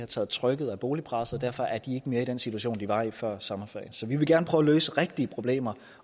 taget trykket af boligpresset og derfor er de ikke mere i den situation de var i før sommerferien så vi vil gerne prøve at løse rigtige problemer